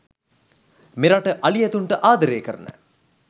මෙරට අලි ඇතුන්ට ආදරය කරන